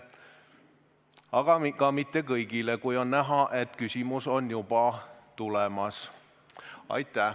Aga ka mitte kõigile, kui on näha, et küsimus on juba tulemas.